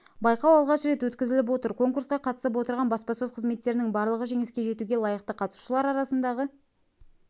байқау алғаш рет өткізіліп отыр конкурсқа қатысып отырған баспасөз қызметтерінің барлығы жеңіске жетуге лайықты қатысушылар арасындағы